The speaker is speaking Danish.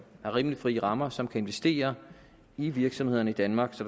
rimelig frie rammer som kan investere i virksomhederne i danmark så